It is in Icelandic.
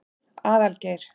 Aðalgeir